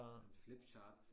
Flip charts